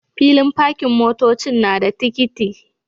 Filin pakin motocin nada tikiti